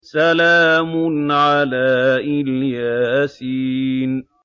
سَلَامٌ عَلَىٰ إِلْ يَاسِينَ